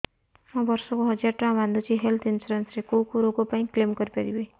ମୁଁ ବର୍ଷ କୁ ହଜାର ଟଙ୍କା ବାନ୍ଧୁଛି ହେଲ୍ଥ ଇନ୍ସୁରାନ୍ସ ରେ କୋଉ କୋଉ ରୋଗ ପାଇଁ କ୍ଳେମ କରିପାରିବି